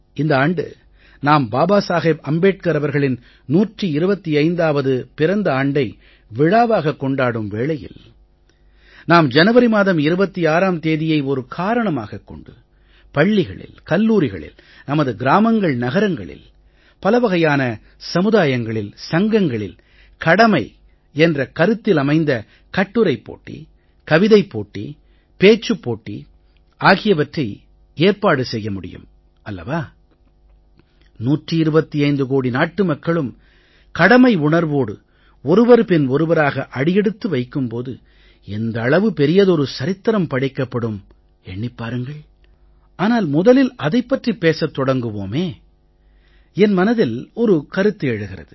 இந்த ஆண்டு நாம் பாபா சாஹேப் அம்பேட்கர் அவர்களின் 125வது பிறந்த ஆண்டை விழாவாகக் கொண்டாடும் வேளையில் நாம் ஜனவரி மாதம் 26ம் தேதியை ஒரு காரணமாகக் கொண்டு பள்ளிகளில் கல்லூரிகளில் நமது கிராமங்கள்நகரங்களில் பலவகையான சமுதாயங்களில் சங்கங்களில் கடமை என்ற கருத்திலமைந்த கட்டுரைப் போட்டி கவிதைப் போட்டி பேச்சுப் போட்டி ஆகியவற்றை ஏற்பாடு செய்ய முடியும் அல்லவா 125 கோடி நாட்டு மக்களும் கடமை உணர்வோடு ஒருவர் பின் ஒருவராக அடியெடுத்து வைக்கும் போது எந்த அளவு பெரியதொரு சரித்திரம் படைக்கப்படும் எண்ணிப் பாருங்கள் ஆனால் முதலில் அதைப் பற்றிப் பேசத் தொடங்குவோமே என் மனதில் ஒரு கருத்து எழுகிறது